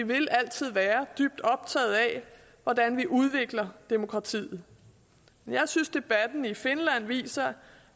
vil altid være dybt optaget af hvordan vi udvikler demokratiet jeg synes debatten i finland viser